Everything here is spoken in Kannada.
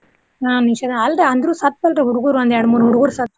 ಹಾ ನಿಷೇಧ ಅಲ್ರಿ ಅಂದ್ರು ಸತ್ರ ಅಲ್ರಿ ಹುಡ್ಗುರು ಒಂದ್ ಎರ್ಡ್ ಮೂರ್ ಹುಡ್ಗುರ್ ಸತ್ರು.